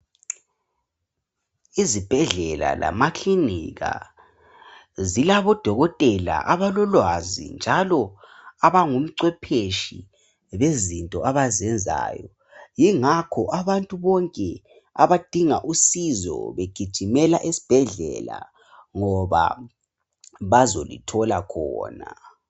Izibhedlela lamaklinika zilabodokotela abalolwazi njalo abangumcwephetshi bezinto abazenzayo. Yingakho abantu bonke abadinga usizo begijimela esibhedlela ngoba bazolithola khona.